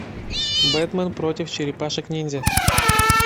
бэтмен против черепашек ниндзя